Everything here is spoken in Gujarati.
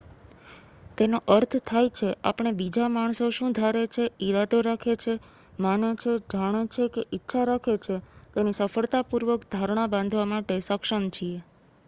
તેનો અર્થ થાય છે આપણે બીજા માણસો શું ધારે છે ઈરાદો રાખે છે માને છે જાણે છે કે ઈચ્છા રાખે છે તેની સફળતાપૂર્વક ધારણા બાંધવા માટે સક્ષમ છીએ